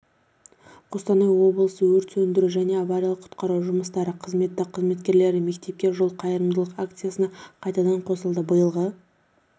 қостанай облысы өрт сөндіру және авариялық-құтқару жұмыстары қызметі қызметкерлері мектепке жол қайырымдылық акциясына қайтадан қосылды биылғы